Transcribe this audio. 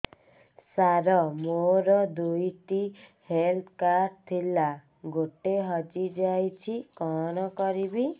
ସାର ମୋର ଦୁଇ ଟି ହେଲ୍ଥ କାର୍ଡ ଥିଲା ଗୋଟେ ହଜିଯାଇଛି କଣ କରିବି